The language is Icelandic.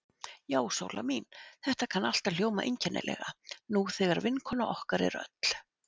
Já, Sóla mín, þetta kann allt að hljóma einkennilega, nú þegar vinkona okkar er öll.